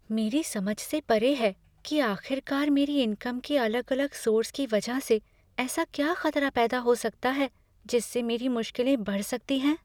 मेरी समझ से परे है कि आख़िरकार मेरी इनकम के अलग अलग सोर्स की वजह से ऐसा क्या खतरा पैदा हो सकता है जिससे मेरी मुश्किलें बढ़ सकती है?